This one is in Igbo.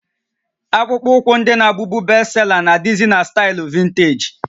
Akpụkpọ ụkwụ ndị na-abụbu bestsela nà adịzị na staịlụ vinteeji